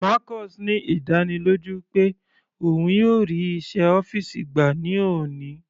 Marcus ní ìdánilójú pé òun yóò rí iṣẹ́ ọ́fìsì gbà ní òní.